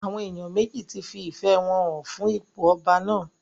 Àwọn èèyàn méjì fi ìfẹ́ wọn hàn fún ipò ọba náà